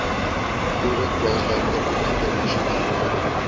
boere plaaswerkers internasionale